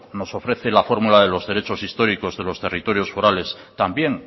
nos ofrece la fórmula de los derechos históricos de los territorios forales también